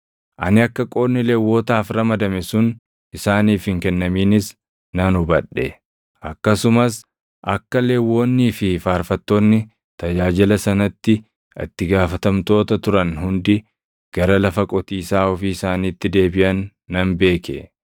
Ani akka qoodni Lewwotaaf ramadame sun isaaniif hin kennaminis nan hubadhe; akkasumas akka Lewwonnii fi faarfattoonni tajaajila sanatti itti gaafatamtoota turan hundi gara lafa qotiisaa ofii isaaniitti deebiʼan nan beeke.